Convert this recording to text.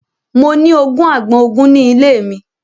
Mo ní ogún àgbọn ogun ni ile mi